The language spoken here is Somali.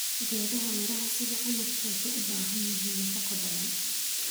Geedaha miraha sida canabka waxay u baahan yihiin nafaqo badan.